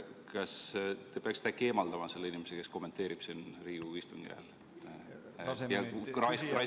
Kas te peaksite äkki eemaldama selle inimese, kes kommenteerib siin Riigikogu istungi ajal ja raiskab minu aega?